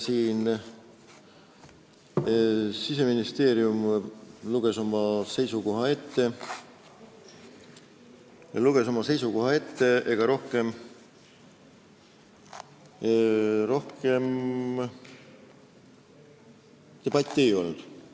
Siseministeeriumi esindaja luges ministeeriumi seisukoha ette, rohkem debatti ei olnud.